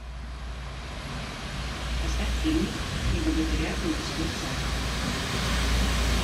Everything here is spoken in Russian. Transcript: поставь фильмик три богатыря и морской царь